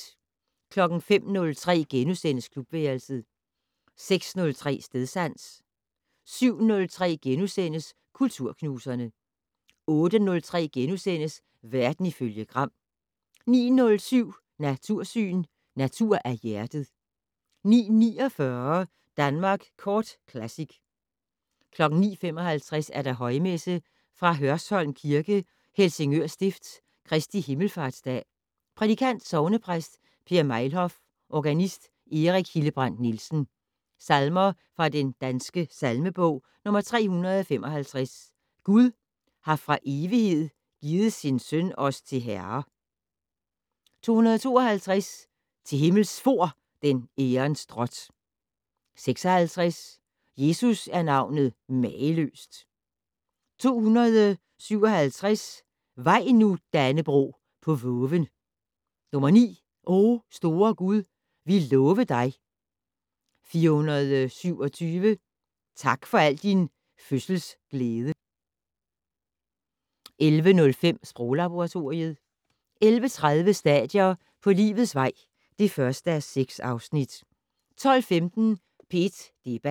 05:03: Klubværelset * 06:03: Stedsans 07:03: Kulturknuserne * 08:03: Verden ifølge Gram * 09:07: Natursyn: Natur af hjertet 09:49: Danmark Kort Classic 09:55: Højmesse - Fra Hørsholm kirke, Helsingør Stift. Kristi Himmelfartsdag. Prædikant: Sognepræst Per Mejlhof. Organist: Erik Hildebrandt-Nielsen. Salmer fra Den Danske Salmebog: 355 "Gud har fra evighed givet sin Søn os til Herre". 252 "Til Himmels fór den ærens drot". 56 "Jesus er navnet mageløst". 257 "Vaj nu, Dannebrog, på voven". 9 "O store Gud! vi love dig". 427 "Tak for al din fødsels glæde". 11:05: Sproglaboratoriet 11:30: Stadier på livets vej (1:6) 12:15: P1 Debat